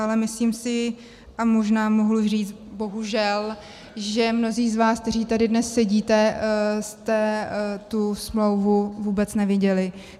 Ale myslím si, a možná mohu říct i bohužel, že mnozí z vás, kteří tady dnes sedíte, jste tu smlouvu vůbec neviděli.